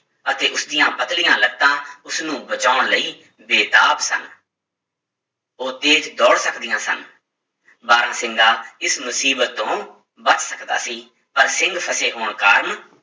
ਅਤੇ ਉਸਦੀਆਂ ਪਤਲੀਆਂ ਲੱਤਾਂ ਉਸਨੂੰ ਬਚਾਉਣ ਲਈ ਬੇਤਾਬ ਸਨ ਉਹ ਤੇਜ ਦੌੜ ਸਕਦੀਆਂ ਸਨ, ਬਾਰਾਂਸਿੰਗਾ ਇਸ ਮੁਸੀਬਤ ਤੋਂ ਬਚ ਸਕਦਾ ਸੀ, ਪਰ ਸਿੰਗ ਫਸੇ ਹੋਣ ਕਾਰਨ